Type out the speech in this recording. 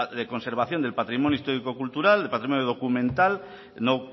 de conservación del patrimonio histórico cultural el patrimonio documental no